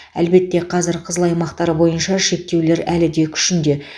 әлбетте қазір қызыл аймақтар бойынша шектеулер әлі де күшінде